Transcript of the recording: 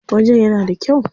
Wajen yana da kyau.